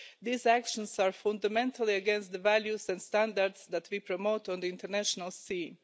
These actions are fundamentally against the values and standards that we promote on the international scene.